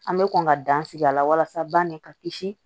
An bɛ kɔn ka dan sigi a la walasa banni ka kisi